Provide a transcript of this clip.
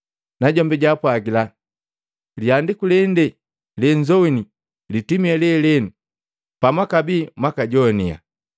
Najombi jaapwagila, “Lihandiku lende lenzowini litimi lelenu pamwakabii mwakajoaniya.”